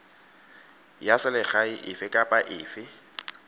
ya selegae efe kapa efe